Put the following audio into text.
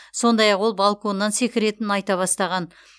сондай ақ ол балконнан секіретінін айта бастаған